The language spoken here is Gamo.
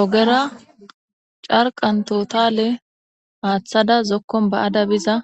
ogera carqan totale aaththada zokkon ba7ada biza